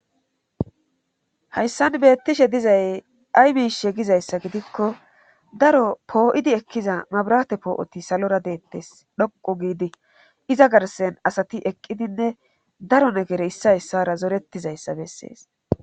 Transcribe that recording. hayssan beettishe dizay ay mishe gizayssa gidikko daro poo7idi ekkiza mabrate poo7oti salora deettes dhoqu giidi iza garsen asati eqqidinne daro negere issayssara zoretizayssa bessees